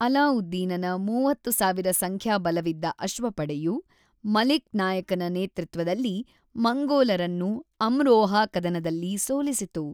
ಅಲಾವುದ್ದೀನನ ೩೦,೦೦೦ ಸಂಖ್ಯಾಬಲವಿದ್ದ ಅಶ್ವಪಡೆಯು, ಮಲಿಕ್ ನಾಯಕನ ನೇತೃತ್ವದಲ್ಲಿ ಮಂಗೋಲರನ್ನು ಅಮ್ರೋಹಾ ಕದನದಲ್ಲಿ ಸೋಲಿಸಿತು.